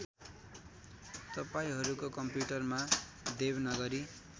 तपाईँहरूको कम्प्युटरमा देवनागरी